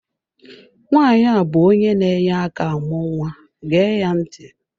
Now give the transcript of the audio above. Nwaanyi a bụ onye na-enye aka amụ nwa gee ya ntị!